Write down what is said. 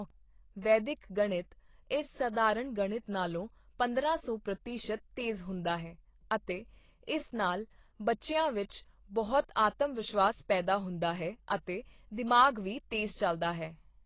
ਵੈਦਿਕ ਗਣਿਤ ਇਸ ਸਧਾਰਣ ਗਣਿਤ ਨਾਲੋਂ ਪੰਦਰਾਂ ਸੌ ਪ੍ਰਤੀਸ਼ਤ ਤੇਜ਼ ਹੁੰਦਾ ਹੈ ਅਤੇ ਇਸ ਨਾਲ ਬੱਚਿਆਂ ਵਿੱਚ ਬਹੁਤ ਆਤਮ ਵਿਸ਼ਵਾਸ ਪੈਦਾ ਹੁੰਦਾ ਹੈ ਅਤੇ ਦਿਮਾਗ਼ ਵੀ ਤੇਜ਼ ਚਲਦਾ ਹੈ।